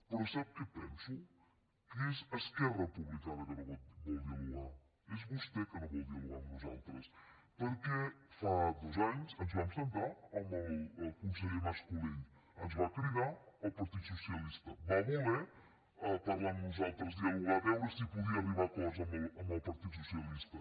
però sap què penso que és esquerra republicana que no vol dialogar és vostè que no vol dialogar amb nosaltres perquè fa dos anys ens vam asseure amb el conseller mas colell ens va cridar al partit socialista va voler parlar amb nosaltres dialogar veure si podia arribar a acords amb el partit socialista